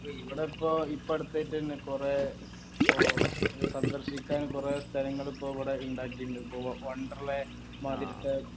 ഇപ്പൊ ഇവിടപ്പോ ഇപ്പൊ അടുത്തായിട്ട് തന്നെ കൊറേ ഇപ്പൊ സന്ദർശിക്കാൻ കൊറേ സ്ഥലങ്ങൾ ഇപ്പൊ ഇവിടെ ഇണ്ടാകിൻഡ് ഇപ്പൊ വണ്ടർല മാതിരിത്തെ